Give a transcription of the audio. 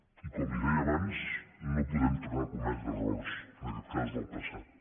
i com li deia abans no podem tornar a cometre errors en aquest cas del passat